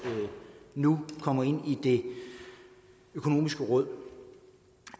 nu kommer ind i det økonomiske råd